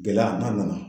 Gɛlɛya n'a nana